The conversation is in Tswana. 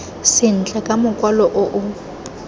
sentle ka mokwalo o o